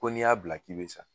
Ko n'i y'a bila k'i bɛ sa